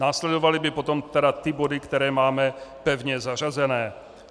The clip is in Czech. Následovaly by potom tedy ty body, které máme pevně zařazené.